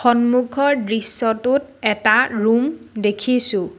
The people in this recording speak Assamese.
সন্মুখৰ দৃশ্যটোত এটা ৰুম দেখিছোঁ।